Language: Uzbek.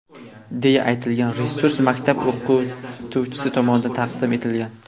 deya aytilgan resurs maktab o‘qituvchisi tomonidan taqdim etilgan.